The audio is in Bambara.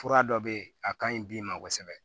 Fura dɔ bɛ yen a ka ɲi bi ma kosɛbɛ